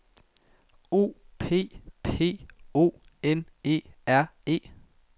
O P P O N E R E